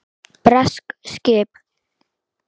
Bresk skip!